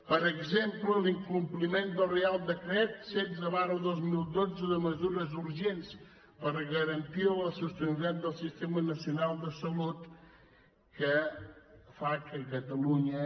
per exemple l’incompliment del reial decret setze dos mil dotze de mesures urgents per garantir la sostenibilitat del sistema nacional de salut que fa que catalunya